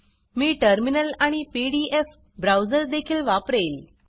मी terminal आणि P D F browser देखील वापरेल